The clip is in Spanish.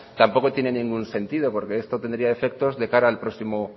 tampoco tiene ningún sentido porque esto tendría efectos de cara al próximo